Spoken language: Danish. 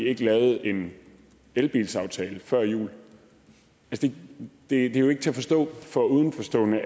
ikke lavet en elbilsaftale før jul det er jo ikke til at forstå for udenforstående